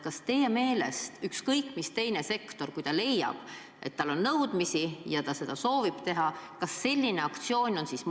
Kas teie meelest võib ka mõni teine sektor, kui ta leiab, et tema nõudmisi tuleb täita, korraldada sellise aktsiooni?